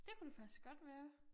Det kunne det faktisk godt være